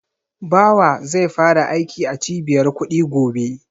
Bawa zai fara aiki a Cibiyar kuɗi gobe.